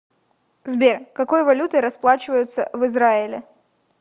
сбер какой валютой расплачиваются в израиле